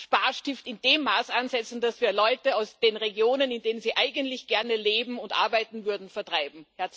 Sparstift in dem Maße ansetzen, dass wir Leute aus den Regionen, in denen sie eigentlich gerne leben und arbeiten würden, vertreiben.